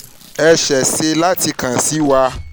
ẹ ṣeese láti kàn wá sí wa